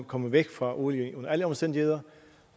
komme væk fra olien under alle omstændigheder